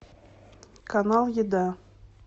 канал еда